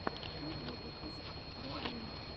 первый выпуск барвины